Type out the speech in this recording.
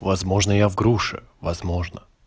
возможно я в груше возможно